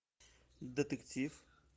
детектив